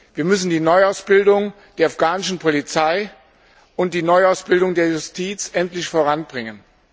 Wir müssen die Neuausbildung der afghanischen Polizei und die Neuausbildung der Justiz endlich voranbringen.